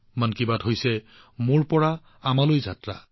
মন কী বাত মোৰ নিজৰ পৰা আমালৈ যোৱা এটা যাত্ৰা